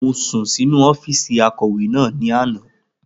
Mo sùn sínu ọ́fìsì akọ̀wé náà ní àná